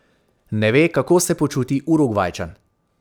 Ne ve, kako se počuti Urugvajčan.